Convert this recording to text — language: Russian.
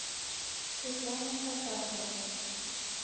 светлана фатахова